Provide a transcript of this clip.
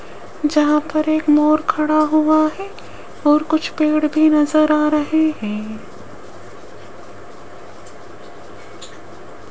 जहां पर एक मोर खड़ा हुआ है और कुछ पेड़ भी नजर आ रहे हैं।